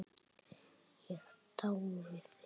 Ég dái þig.